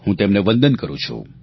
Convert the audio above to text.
હું તેમને વંદન કરું છું